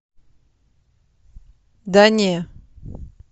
да не